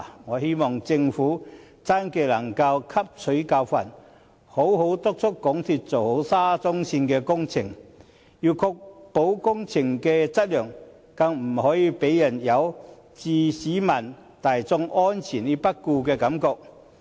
我希望政府真的能汲取教訓，好好督促港鐵公司做好沙中線工程，要確保工程的質量，更不可以令人有置市民大眾安全於不顧的感覺。